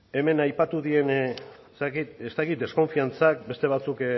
hemen aipatu dien zerekin ez dakit deskonfiantzak beste batzuk